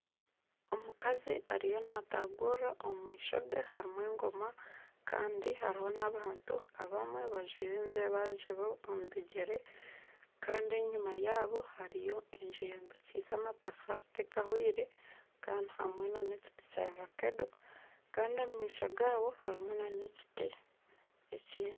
Omukazi ariyo naatagurira omu maisho ge harimu engoma kandi hariho n'abantu abamwe bajwire enzebazebe omu bigyere kandi enyima yaabo eyombikiise amatafaari tekahwire kandi harimu nana ekiti kya vakedo kandi omu maisho gaabo harimu n'ekiti ekindi